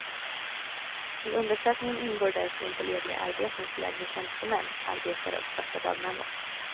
I undersökningen ingår därför inte lediga arbeten för lägre tjänstemän, arbetare och svarta dagmammor.